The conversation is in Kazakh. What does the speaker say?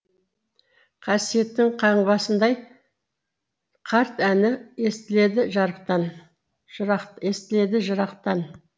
қасиеттің қаңбасындай қарт әні естіледі жарықтан жырақ естіледі жырақтан